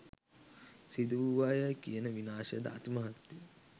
සිදුවූවායයි කියන විනාශයද අතිමහත්ය.